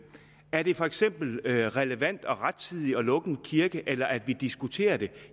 er det for eksempel relevant og rettidigt at lukke en kirke eller at vi diskuterer det